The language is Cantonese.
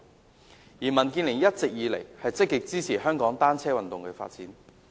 民主建港協進聯盟一直以來積極支持香港單車運動的發展。